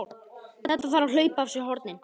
Þetta þarf að hlaupa af sér hornin!